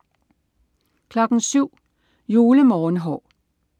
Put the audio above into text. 07.00 Julemorgenhår